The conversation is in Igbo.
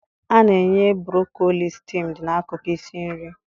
A na-enye broccoli steamed n'akụkụ isi nri